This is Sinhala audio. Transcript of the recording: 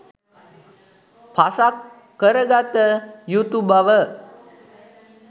පසක් කරගත යුතු බව